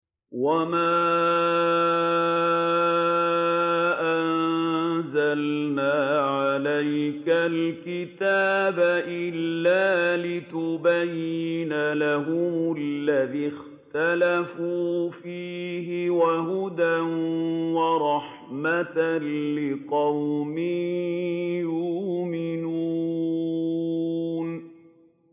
وَمَا أَنزَلْنَا عَلَيْكَ الْكِتَابَ إِلَّا لِتُبَيِّنَ لَهُمُ الَّذِي اخْتَلَفُوا فِيهِ ۙ وَهُدًى وَرَحْمَةً لِّقَوْمٍ يُؤْمِنُونَ